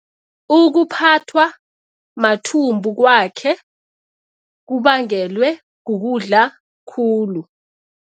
Ukuphathwa mathumbu kwakhe kubangelwe kukudla khulu.